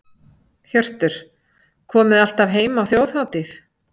Hjörtur: Komið alltaf heim á Þjóðhátíð?